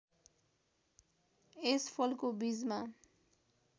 यस फलको बीजमा